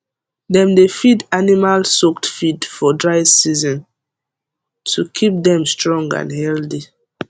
dem dey feed animal soaked feed for dry season to keep dem strong and healthy